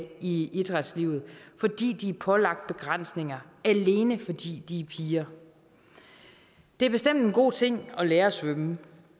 i idrætslivet fordi de er pålagt begrænsninger alene fordi de er piger det er bestemt en god ting at lære at svømme